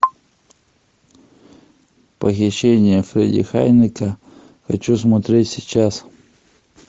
похищение фредди хайнекена хочу смотреть сейчас